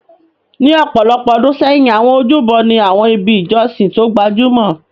Ní ọ̀pọ̀ ọdún sẹ́yìn, àwọn ojúbọ ni àwọn ibi ìjọsìn tó gbajúmọ̀.